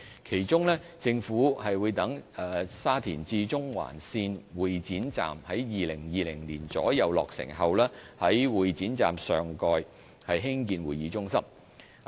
其中，政府會待沙田至中環線會展站於2020年左右落成後，在會展站上蓋興建會議中心。